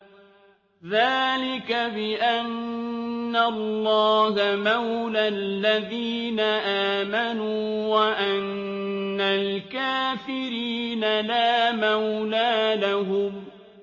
ذَٰلِكَ بِأَنَّ اللَّهَ مَوْلَى الَّذِينَ آمَنُوا وَأَنَّ الْكَافِرِينَ لَا مَوْلَىٰ لَهُمْ